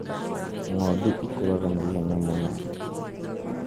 Ng'ondu ikũraga na ihenya mũno